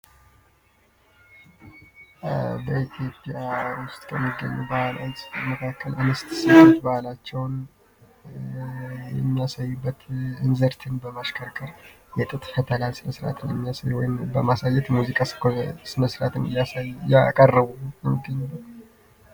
በኢቲዮጵያ ውስጥ ከሚገኙ ባህሎች መካከል እንስት ሴቶች ባህላቸውን የሚያሳዩበት እንዝርትን በማሽከርከር የጥጥ ፈተላ ስራ መስራትን በማሳየት ሙዚቃ ስመስራትን ያቀርቡ ይገኛሉ።